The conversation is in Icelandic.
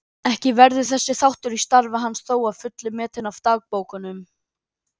Ekki verður þessi þáttur í starfi hans þó að fullu metinn af dagbókunum.